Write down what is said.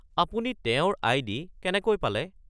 আপুনি তেওঁৰ আই.ডি. কেনেকৈ পালে?